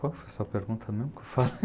Qual foi a sua pergunta mesmo que eu falei?